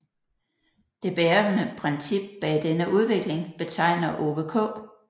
Det bærende princip bag denne udvikling betegner Ove K